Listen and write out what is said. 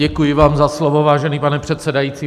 Děkuji vám za slovo, vážený pane předsedající.